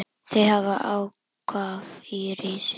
Þau hafa athvarf í risinu.